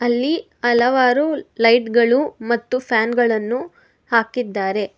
ಇಲ್ಲಿ ಹಲವಾರು ಲೈಟ್ ಗಳು ಮತ್ತು ಫ್ಯಾನು ಗಳನ್ನು ಹಾಕಿದ್ದಾರೆ.